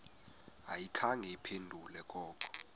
ayikhange iphendule koko